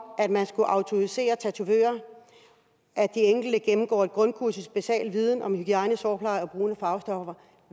at man skulle autorisere tatovører og at de enkelte gennemgår et grundkursus i basal viden om hygiejne sårpleje og brug af farvestoffer